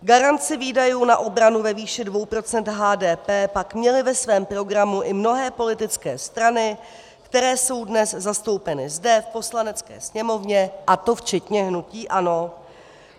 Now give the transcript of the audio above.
Garanci výdajů na obranu ve výši 2 % HDP pak měly ve svém programu i mnohé politické strany, které jsou dnes zastoupeny zde v Poslanecké sněmovně, a to včetně hnutí ANO.